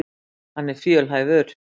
Hann er fjölhæfur.